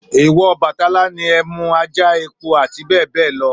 Èwọ̀ Ọbàtálá ni ẹmú, ajá, epo àti bẹ́ẹ̀ bẹ́ẹ̀ lọ.